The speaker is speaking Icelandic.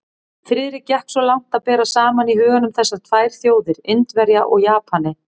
Friðrik gekk svo langt að bera saman í huganum þessar tvær þjóðir, Indverja og Japani.